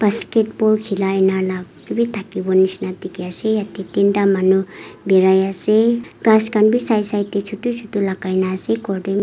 basketball khilai lah lah bhi thakibo nisna dikhi ase yate tinta manu berai ase ghass khan bhi side side teh chotu chotu lagai na ase cordem--